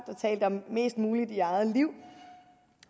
talte om mest muligt i eget liv